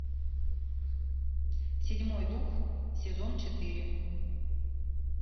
седьмой дух сезон четыре